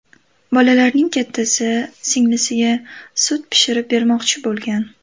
Bolalarning kattasi singlisiga sut pishirib bermoqchi bo‘lgan.